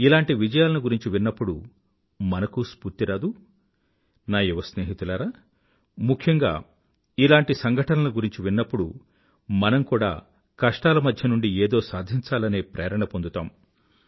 ఇలాంటి విజయాలను గురించి విన్నప్పుడు మనకూ స్ఫూర్తి రాదూ నా యువస్నేహితులారా ముఖ్యంగా ఇలాంటి సంఘటనల గురించి విన్నప్పుడు మనం కూడా కష్టాల మధ్యనుండి ఏదో సాధించాలనే ప్రేరణని పొందుతాం